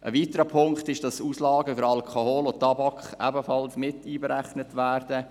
Ein weiterer Punkt ist, dass Auslagen für Alkohol und Tabak ebenfalls einberechnet werden.